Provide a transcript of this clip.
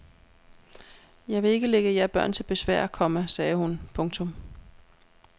Jeg vil ikke ligge jer børn til besvær, komma sagde hun. punktum